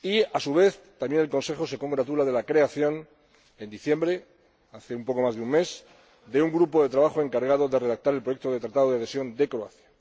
A su vez, el Consejo también se congratula de la creación en diciembre, hace poco más de un mes, de un grupo de trabajo encargado de redactar el proyecto de Tratado de adhesión de Croacia.